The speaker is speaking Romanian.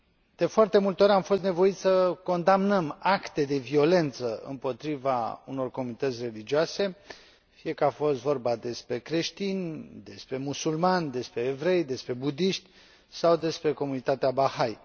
De foarte multe ori, am fost nevoiți să condamnăm acte de violență împotriva unor comunități religioase, fie că a fost vorba despre creștini, despre musulmani, despre evrei, despre buddiști sau despre comunitatea Baha'i.